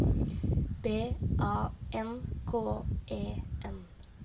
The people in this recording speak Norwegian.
B A N K E N